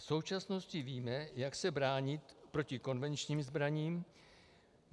V současnosti víme, jak se bránit proti konvenčním zbraním.